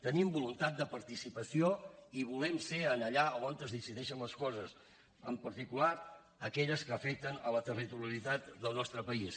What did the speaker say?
tenim voluntat de participació i volem ser allà on es decideixen les coses en particular aquelles que afecten la territorialitat del nostre país